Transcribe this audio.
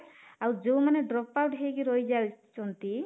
ଆଉ ଯୋଉ ମାନେ drop out ହେଇକି ରହିଯାଉଛନ୍ତି